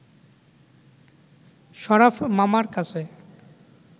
শরাফ মামার কাছে